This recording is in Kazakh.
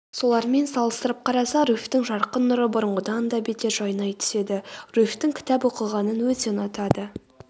солармен салыстырып қараса руфьтің жарқын нұры бұрынғыдан да бетер жайнай түседі руфьтің кітап оқығанын өте ұнатады